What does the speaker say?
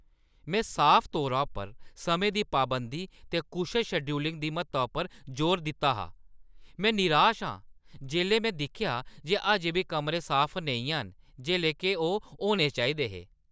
में साफ तौरा उप्पर समें दी पाबंदी ते कुशल शेड्यूलिंग दी म्हत्ता उप्पर जोर दित्ता हा, में निराश आं जिसलै में दिक्खेआ जे अजें बी कमरें साफ नेईं हैन, जेल्लै के ओह् होने चाहिदे हे! ​